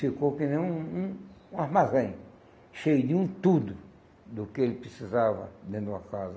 Ficou que nem um um um armazém, cheio de um tudo do que ele precisava dentro de uma casa.